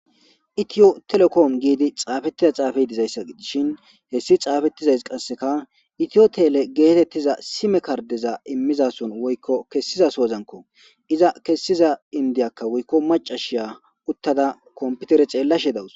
itiyo telekoom giidi xaafettiza xaafa dizayssa idishin hessi xaafettizays qasseka itiyotele geetettiza sime kardeza immizason woykko kessizasoozanko iza kessiza indiyakka woykko macashiya uttada komputere ceellashe dawus